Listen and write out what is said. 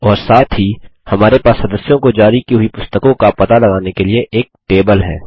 और साथ ही हमारे पास स्स्दस्यों को जारी की हुई पुस्तकों को पता लगाने के लिए एक टेबल है